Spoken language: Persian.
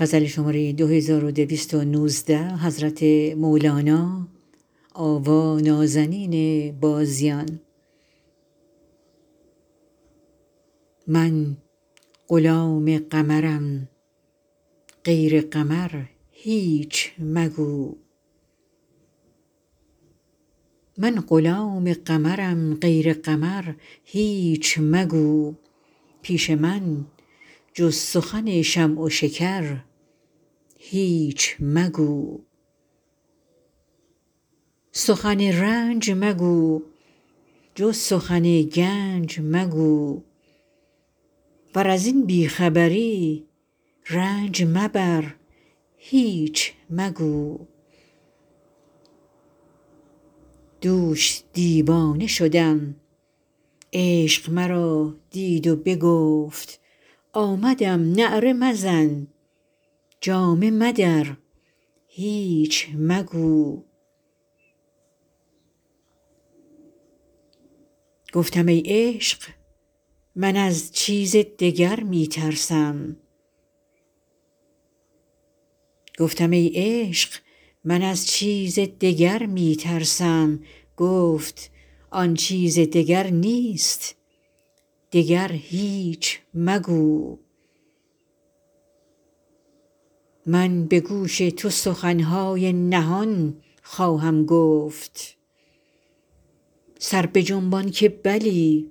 من غلام قمرم غیر قمر هیچ مگو پیش من جز سخن شمع و شکر هیچ مگو سخن رنج مگو جز سخن گنج مگو ور از این بی خبری رنج مبر هیچ مگو دوش دیوانه شدم عشق مرا دید و بگفت آمدم نعره مزن جامه مدر هیچ مگو گفتم ای عشق من از چیز دگر می ترسم گفت آن چیز دگر نیست دگر هیچ مگو من به گوش تو سخن های نهان خواهم گفت سر بجنبان که بلی